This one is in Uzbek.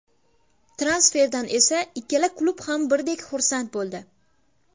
Transferdan esa ikkala klub ham birdek xursand bo‘ldi.